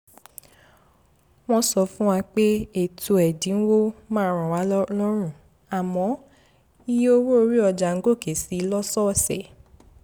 wọ́n sọ fún wa pé ètò ẹ̀dínwó máa ràn wá lọ́rùn àmọ́ iye owó orí ọjà ń gòkè si lọ́sọ̀ọ̀sẹ̀